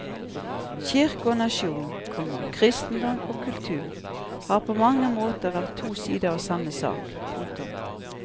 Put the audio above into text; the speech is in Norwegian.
Kirke og nasjon, komma kristendom og kultur har på mange måter vært to sider av samme sak. punktum